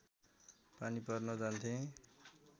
पानी भर्न जान्थे